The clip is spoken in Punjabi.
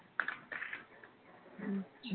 ਅੱਛਾ